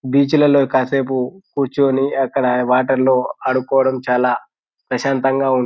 Beach లో కాసెపు క్రుచోని అక్కడ వాటర్ లో ఆడుకోవడం చాలా ప్రశంతంగా ఉంటుంది.